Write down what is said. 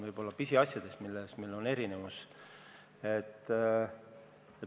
Võib-olla vaid pisiasjades on erinevusi.